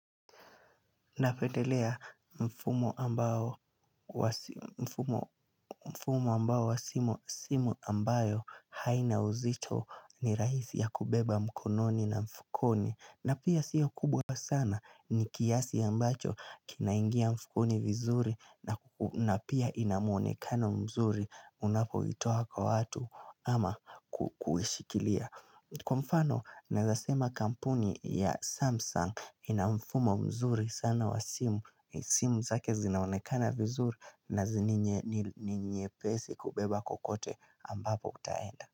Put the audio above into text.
Napendelea mfumo ambao wa simu ambayo haina uzito ni rahisi ya kubeba mkononi na mfukoni. Na pia sio kubwa sana ni kiasi ambacho kinaingia mfukoni vizuri na pia ina mwonekano mzuri unapoitoa kwa watu ama kuishikilia. Kwa mfano, naeza sema kampuni ya Samsung ina mfumo mzuri sana wa simu, simu zake zinaonekana vizuri na zenye ni pesi kubeba kokote ambapo utaenda.